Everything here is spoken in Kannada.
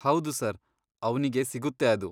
ಹೌದು ಸರ್, ಅವ್ನಿಗೆ ಸಿಗುತ್ತೆ ಅದು.